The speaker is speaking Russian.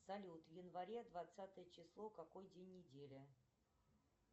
салют в январе двадцатое число какой день недели